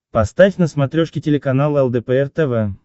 поставь на смотрешке телеканал лдпр тв